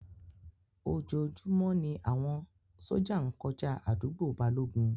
Ojoojúmọ́ ni àwọn sójà ń kọjá àdúgbò Balógun